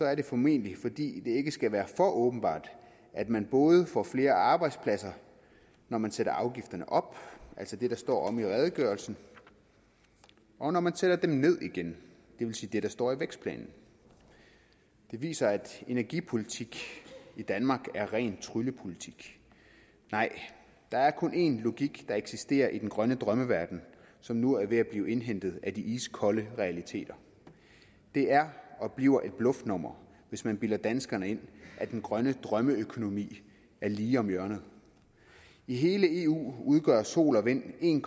er det formentlig fordi det ikke skal være for åbenbart at man både får flere arbejdspladser når man sætter afgifterne op altså det der står i redegørelsen og når man sætter dem ned igen det vil sige det der står i vækstplanen det viser at energipolitik i danmark er ren tryllepolitik nej der er kun én logik der eksisterer i den grønne drømmeverden som nu er ved at blive indhentet af de iskolde realiteter det er og bliver et bluffnummer hvis man bilder danskerne ind at den grønne drømmeøkonomi er lige om hjørnet i hele eu udgør sol og vind en